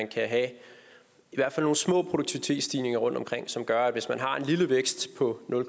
kan have nogle små produktivitetsstigninger rundtomkring som gør at hvis man har en lille vækst på nul